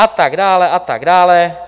A tak dále a tak dále.